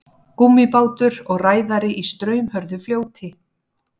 Gúmmíbátur og ræðari í straumhörðu fljóti.